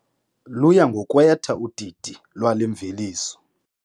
Luya ngokwetha udidi lwale mveliso.